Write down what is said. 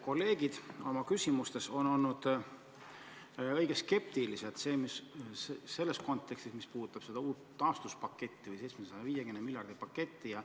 Kolleegid on oma küsimustes olnud õige skeptilised selles, mis puudutab seda uut taastuspaketti, 750 miljardit.